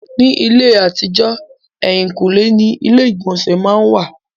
Ní ayé àtijọ́, èhìnkúnlé ni ilé ìgbọ̀nsẹ̀ má n wà.